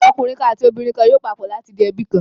Ọkùnrin kan àti obìnrin kan yóò papọ̀ láti di ẹbí kan.